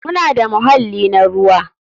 Muna da muhalli na ruwa.